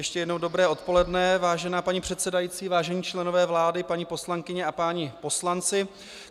Ještě jednou dobré odpoledne, vážená paní předsedající, vážení členové vlády, paní poslankyně a páni poslanci.